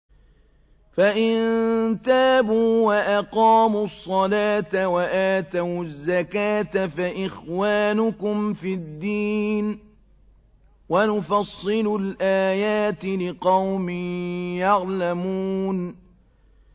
فَإِن تَابُوا وَأَقَامُوا الصَّلَاةَ وَآتَوُا الزَّكَاةَ فَإِخْوَانُكُمْ فِي الدِّينِ ۗ وَنُفَصِّلُ الْآيَاتِ لِقَوْمٍ يَعْلَمُونَ